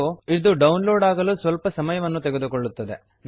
ಮತ್ತು ಇದು download ಆಗಲು ಸ್ವಲ್ಪ ಸಮಯವನ್ನು ತೆಗೆದುಕೊಳ್ಳುತ್ತದೆ